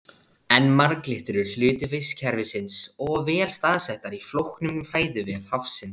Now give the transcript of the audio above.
En marglyttur eru hluti vistkerfisins og vel staðsettar í flóknum fæðuvef hafsins.